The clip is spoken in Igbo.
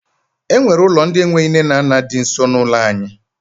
E nwere ụlọ ndị enweghị nne na nna di nso n'ụlọ anyị